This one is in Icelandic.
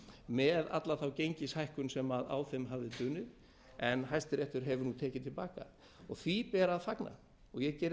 með alla þá gengishækkun sem á þeim hafði dunið en hæstiréttur hefur nú tekið til baka því ber að fagna ég geri